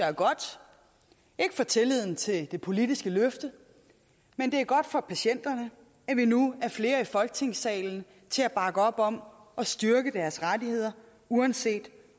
er godt ikke for tilliden til det politiske løfte men for patienterne at vi nu er flere i folketingssalen til at bakke op om at styrke deres rettigheder uanset